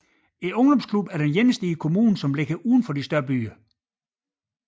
Ungdomsklubben er den eneste i kommunen beliggende udenfor de større byer